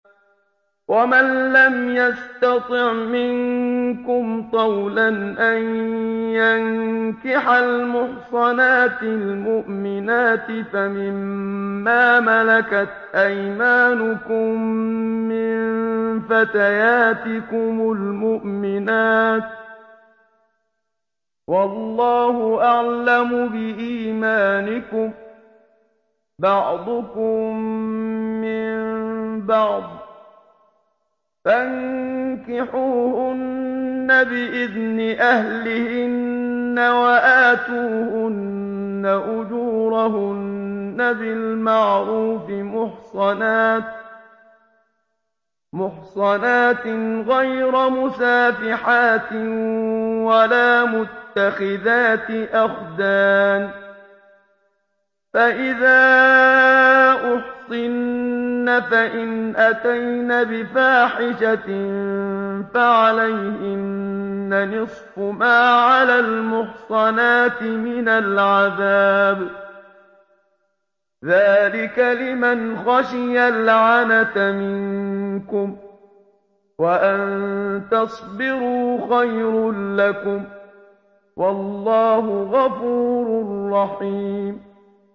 وَمَن لَّمْ يَسْتَطِعْ مِنكُمْ طَوْلًا أَن يَنكِحَ الْمُحْصَنَاتِ الْمُؤْمِنَاتِ فَمِن مَّا مَلَكَتْ أَيْمَانُكُم مِّن فَتَيَاتِكُمُ الْمُؤْمِنَاتِ ۚ وَاللَّهُ أَعْلَمُ بِإِيمَانِكُم ۚ بَعْضُكُم مِّن بَعْضٍ ۚ فَانكِحُوهُنَّ بِإِذْنِ أَهْلِهِنَّ وَآتُوهُنَّ أُجُورَهُنَّ بِالْمَعْرُوفِ مُحْصَنَاتٍ غَيْرَ مُسَافِحَاتٍ وَلَا مُتَّخِذَاتِ أَخْدَانٍ ۚ فَإِذَا أُحْصِنَّ فَإِنْ أَتَيْنَ بِفَاحِشَةٍ فَعَلَيْهِنَّ نِصْفُ مَا عَلَى الْمُحْصَنَاتِ مِنَ الْعَذَابِ ۚ ذَٰلِكَ لِمَنْ خَشِيَ الْعَنَتَ مِنكُمْ ۚ وَأَن تَصْبِرُوا خَيْرٌ لَّكُمْ ۗ وَاللَّهُ غَفُورٌ رَّحِيمٌ